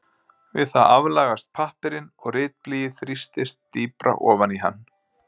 Við það aflagast pappírinn og ritblýið þrýstist dýpra ofan í hann.